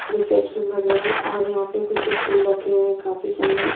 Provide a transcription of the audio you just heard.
Reception वगैरह और यहां पे कुछ स्टूल रखे हुए हैंकाफी सुंदर।